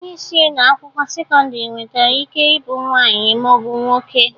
Onyeisi ụlọ akwụkwọ sekọndịrị nwetre ike ị bụ nwaanyị ma ọ bụ nwoke.